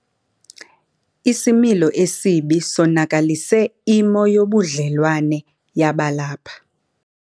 Isimilo esibi sonakalise imo yobudlelwane yabalapha.